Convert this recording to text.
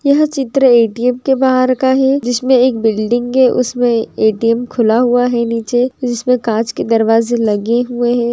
यहाँ चित्र ए_टी_यम के बहार का है। जिसमे के बिल्डिंग है। उसमे ए_टी_यम खुला हुआ है निचे। जिसमे कच के दरवाजे लगे हुए है।